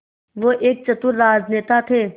वो एक चतुर राजनेता थे